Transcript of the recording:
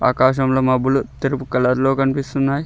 ఆకాశం లో మబ్బులు తెలుపు కలర్ లో కనిపిస్తున్నాయి.